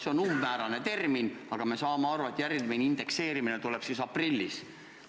See on umbmäärane määratlus, aga me saame aru, et järgmine indekseerimine tuleb aprillis.